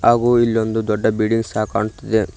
ಹಾಗು ಇಲ್ಲೊಂದು ದೊಡ್ಡ ಬಿಲ್ಡಿಂಗ್ ಸಹ ಕಾಣುತ್ತಿದೆ.